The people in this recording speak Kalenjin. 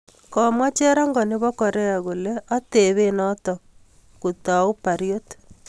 Komwaa cherongoo neboo koreak kolee atebee notok kotau pariot